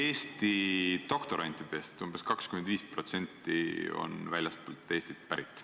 Eesti doktorantidest umbes 25% on väljastpoolt Eestit pärit.